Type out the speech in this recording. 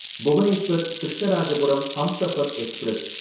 Bhubaneswar Krishnarajapuram Humsafar express